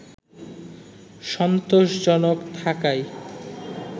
সন্তোষজনক থাকায়